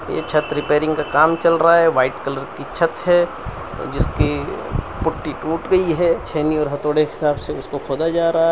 ये छत रिपेयरिंग का काम चल रहा है व्हाइट कलर की छत है जिसकी पुट्टी टूटू गई है छैनी और हथौड़े के हिसाब से उसे खोदा जा रहा है।